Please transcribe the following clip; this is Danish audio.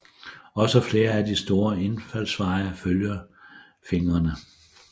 Også flere af de store indfaldsveje følger fingrene